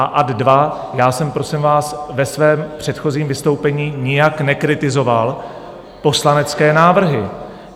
A ad 2 - já jsem, prosím vás, ve svém předchozím vystoupení nijak nekritizoval poslanecké návrhy.